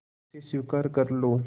उसे स्वीकार कर लो